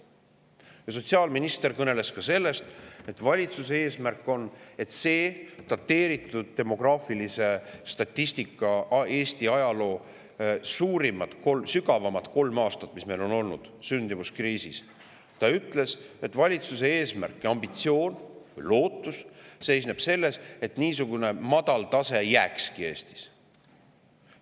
Sotsiaalminister kõneles ka sellest, et valitsuse eesmärk ja ambitsioon ning lootus seisneb selles, et niisugune madal sündimuse tase, nagu on demograafilise statistika järgi olnud kolm aastat, kui on olnud Eesti ajaloo suurim, sügavaim sündimuskriis.